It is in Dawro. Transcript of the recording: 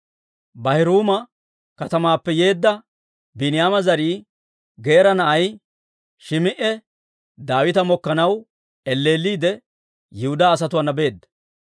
Baahuriima katamaappe yeedda Biiniyaama zarii, Geera na'ay Shim"i Daawita mokkanaw elleelliide, Yihudaa asatuwaana beedda.